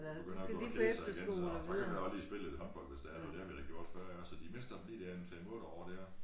De begynder at gå og kede sig igen så der kan man godt lige spille noget håndbold hvis det er det har man da gjort før iggås så de mister dem lige en 5 8 år dér